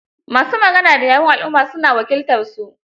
Ma su magana da yawun alumma, su na wakiltarsu.